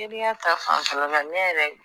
Teriya ta fanfɛla la ne yɛrɛ